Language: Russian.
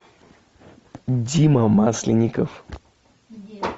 дима масленников